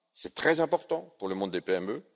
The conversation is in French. C'est très important pour le monde des